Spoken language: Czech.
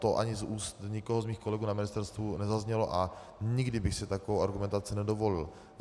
To ani z úst nikoho z mých kolegů na ministerstvu nezaznělo a nikdy bych si takovou argumentaci nedovolil.